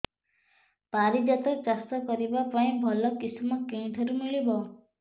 ପାରିଜାତ ଚାଷ କରିବା ପାଇଁ ଭଲ କିଶମ କେଉଁଠାରୁ ମିଳିବ